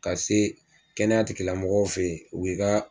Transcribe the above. Ka se kɛnɛya tigilamɔgɔw fɛ yen o b'i ka